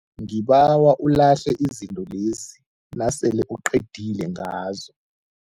Ngibawa ulahle izinto lezi nasele uqedile ngazo.